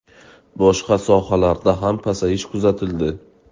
Boshqa sohalarda ham pasayish kuzatildi.